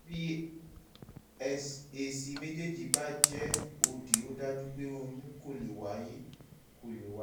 bí èsì méjèèjì bá jẹ́ òdì ó dájú pé oyún kò lè wáyé kò lè wáyé